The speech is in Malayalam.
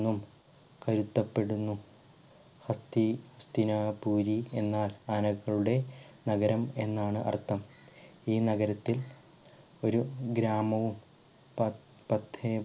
ന്നും പൊരുത്തപ്പെടുന്നു. ഹസ്‌തി ഹസ്തിനാപുരി എന്നാൽ ആനകളുടെ നഗരം എന്നാണ് അർത്ഥം ഈ നഗരത്തിൽ ഒരു ഗ്രാമവും പ പത്തേ